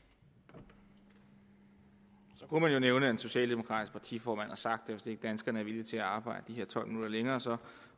så kunne man jo nævne at en socialdemokratisk partiformand har sagt at hvis ikke danskerne er villige til at arbejde de her tolv minutter længere